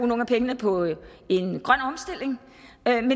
nogle af pengene på en grøn omstilling men